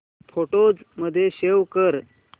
photos मध्ये save कर